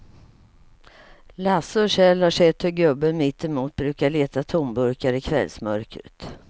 Lasse och Kjell har sett hur gubben mittemot brukar leta tomburkar i kvällsmörkret.